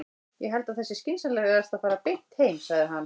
Ég held að það sé skynsamlegast að fara beint heim, sagði hann.